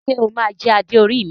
Ṣe o ma jẹ Adé orí mi?